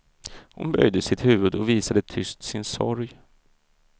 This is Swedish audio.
Hon böjde sitt huvud och visade tyst sin sorg.